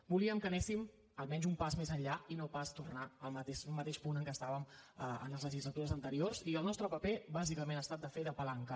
volíem que anéssim almenys un pas més enllà i no pas tornar al mateix punt en què estàvem en les legislatures anteriors i el nostre paper bàsicament ha estat de fer de palanca